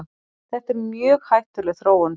Þetta er mjög hættuleg þróun.